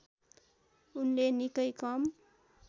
उनले निकै कम